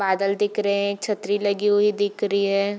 बादल दिख रहे हें एक छतरी लगी हुई दिख री है।